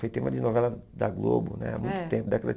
Foi tema de novela da Globo né há muito tempo, década de